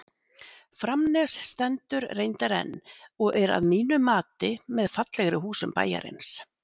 Framnes stendur reyndar enn og er að mínu mati með fallegri húsum bæjarins.